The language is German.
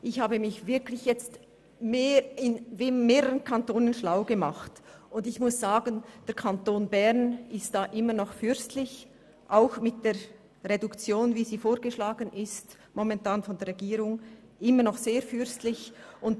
Ich habe mich in mehreren Kantonen schlau gemacht, und der Kanton Bern ist diesbezüglich immer noch fürstlich, auch mit der vorgeschlagenen Reduktion.